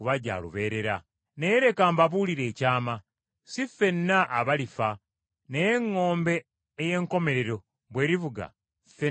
Naye leka mbabuulire ekyama: Si ffenna abalifa, naye eŋŋombe ey’enkomerero bw’erivuga ffenna tulifuusibwa